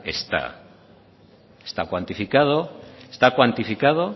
está está está cuantificado